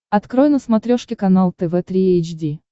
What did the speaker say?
открой на смотрешке канал тв три эйч ди